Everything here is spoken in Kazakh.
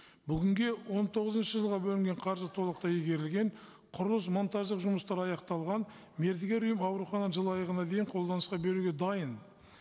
бүгінге он тоғызыншы жылға бөлінген қаржы толықтай игерілген құрылыс монтаждық жұмыстары аяқталған мердігер ұйым аурухананы жыл аяғына дейін қолданысқа беруге дайын